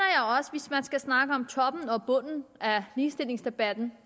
hvis man skal snakke om toppen og bunden af ligestillingsdebatten